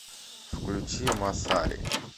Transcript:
включи массари